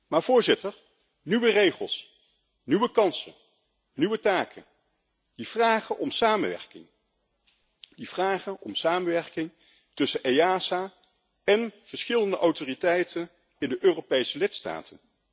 Maar nieuwe regels, nieuwe kansen en nieuwe taken vragen om samenwerking tussen EASA en verschillende autoriteiten in de Europese lidstaten.